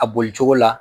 A boli cogo la